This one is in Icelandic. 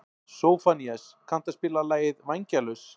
Sófónías, kanntu að spila lagið „Vængjalaus“?